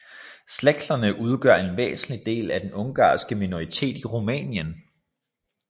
Szeklerne udgør en væsentlig del af den ungarske minoritet i Rumænien